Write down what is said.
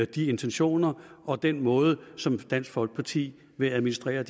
de intentioner og den måde som dansk folkeparti vil administrere og